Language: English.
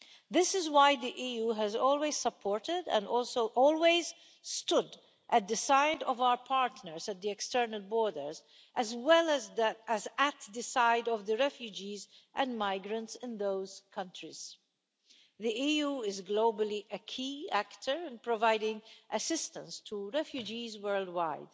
This is why the EU has always supported and also always stood at the side of our partners at the external borders as well as at the side of refugees and migrants in those countries. The EU is globally a key actor in providing assistance to refugees worldwide,